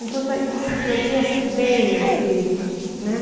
Então, a gente se divertia assim, bem, assim, né?